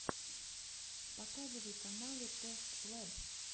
показывай каналы тэст лэб